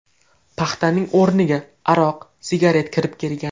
Paxtaning o‘rniga – aroq, sigaret kirib kelgan.